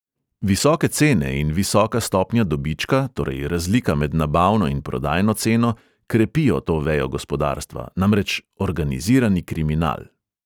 Visoke cene in visoka stopnja dobička, torej razlika med nabavno in prodajno ceno, krepijo to vejo gospodarstva, namreč organizirani kriminal.